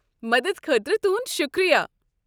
مدد خٲطرٕ تُہُنٛد شُکریا۔